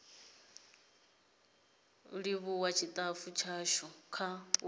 livhuwa tshitafu tshashu kha u